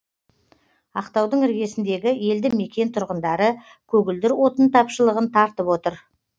ақтаудың іргесіндегі елді мекен тұрғындары көгілдір отын тапшылығын тартып отыр